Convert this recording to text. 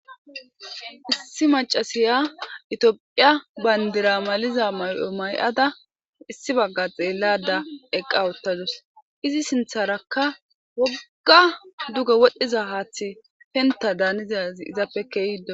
Issi macasiya itioophiya bayndira maliza may'o may'ada issi bagga xeellada eqqa wottadus izi sintharakka wogga duge wodhdhiza haaththi penta daanizazi izappe keehdo